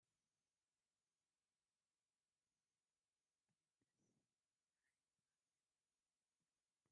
ፕሊፕስ ዝዓይነታ ፔርሙዝ ትርአ ኣላ፡፡ ፔርሙዝ ትኩስ ነገር እንተይዘሓለ ንክፀንሕ ዝገብር መሳርሒ እዩ፡፡ እዚ